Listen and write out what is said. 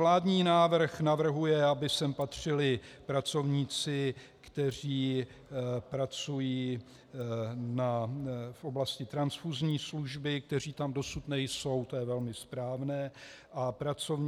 Vládní návrh navrhuje, aby sem patřili pracovníci, kteří pracují v oblasti transfuzní služby, kteří tam dosud nejsou, to je velmi správné, a